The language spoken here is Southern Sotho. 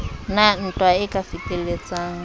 na ntwa e ka fetelletsang